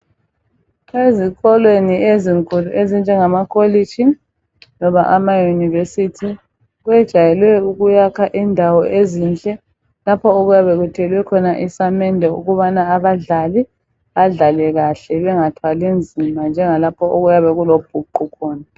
Ezikolweni ezinkulu ezinjema Kholishi loba amaYunivesi kwejayelwe ukuyakha indawo ezinhle lapho okuyabe kuthelwe khona isamende ukubana abadlali badlale kahle bangathwali nzima njengalapha okuyabe kulobhuqu khona.